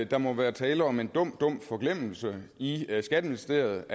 der må være tale om en dum dum forglemmelse i skatteministeriet